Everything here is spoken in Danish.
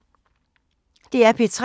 DR P3